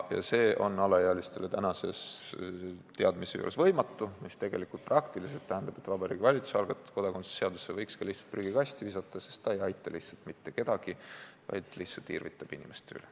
See aga on alaealistele tänase teadmise juures võimatu, mis praktiliselt tähendab seda, et Vabariigi Valitsuse algatatud kodakondsuse seaduse muutmise seaduse võiks ka lihtsalt prügikasti visata, sest see ei aita mitte kedagi, vaid lihtsalt irvitab inimeste üle.